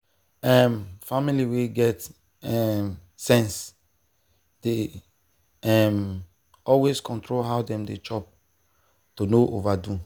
um family wey get um sense dey um always control how dem dey chop to no overdo.